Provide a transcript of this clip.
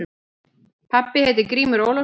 Pabbi heitir Grímur Ólafsson.